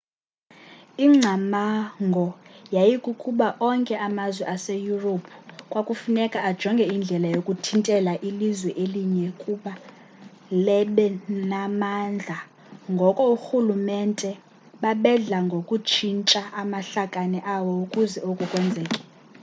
ingcamango yayikukuba onke amazwe seyurophu kwakufuneka ajonge indlela yokuthintela ilizwe elinye ukuba lebe namandla ngoko oorhulumente babedla ngokutshintsha amahlakane awo ukuze oku kwenzeke